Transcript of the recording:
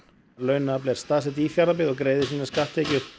launafl er staðsett í Fjarðabyggð og greiðir sínar skattekjur